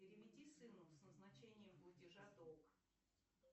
переведи сыну с назначением платежа долг